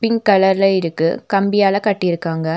Pink கலர்ல இருக்கு கம்பியால கட்டியிருக்காங்க.